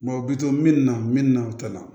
u bi to min na min na o tɛ na